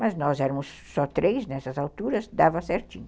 Mas nós éramos só três nessas alturas, dava certinho.